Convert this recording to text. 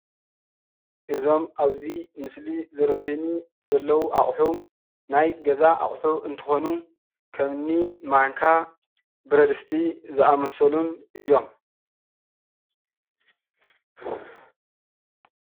እዞም አብዚ ምስሊ ዝረአዩኒ ዘለው አቑሑ ናይ ገዛ አቑሑ እንትኾኑ፤ ከምኒ ማንካ፣ ብረድስቲ ዝአመሰሉን እዮም፡፡